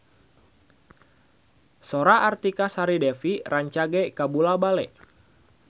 Sora Artika Sari Devi rancage kabula-bale